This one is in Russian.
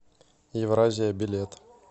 евразия билет